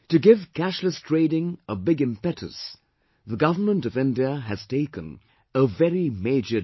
To give cashless trading a big impetus, Government of India has taken a very major decision